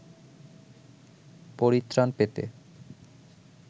পরিত্রাণ পেতে